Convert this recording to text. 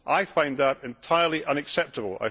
I find that entirely unacceptable.